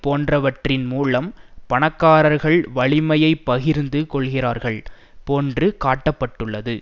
போன்றவற்றின் மூலம் பணக்காரர்கள் வலிமையை பகிர்ந்து கொள்கிறார்கள் போன்று காட்டப்பட்டது